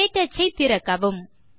க்டச் ஐ திறக்கவும்